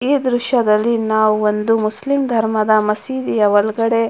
ಈ ದೃಶ್ಯದಲ್ಲಿ ನಾವು ಒಂದು ಮುಸ್ಲಿಮ್ ಧರ್ಮದ ಮಸೀದಿಯ ಒಳಗಡೆ --